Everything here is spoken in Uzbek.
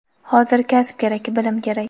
Hozir kasb kerak, bilim kerak!.